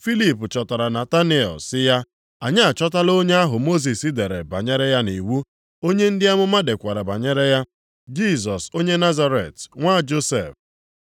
Filip chọtara Nataniel sị ya, “Anyị achọtala onye ahụ Mosis dere banyere ya nʼiwu, onye ndị amụma dekwara banyere ya, Jisọs onye Nazaret, nwa Josef.”